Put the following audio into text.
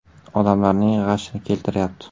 Odamlarning g‘ashini keltiryapti.